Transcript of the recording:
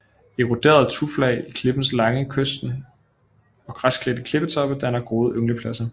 Eroderede tuflag i klipperne langs kysten og græsklædte klippetoppe danner gode ynglepladser